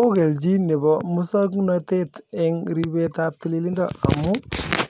ookelchin nepo muswoknotet en ripetab tililindo amun